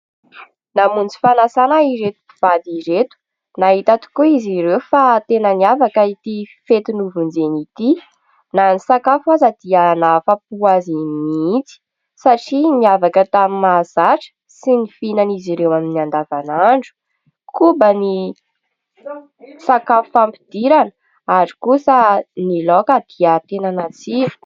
Namonjy fanasana ireto mpivady ireto, nahita tokoa izy ireo fa tena niavaka ity fety novonjeny ity, na ny sakafo aza dia nahafapo azy mihitsy satria niavaka tamin'ny mahazatra sy ny fihinany izy ireo amin'ny andavanandro. Koba ny sakafo fampidirana ary kosa ny laoka dia tena natsiro.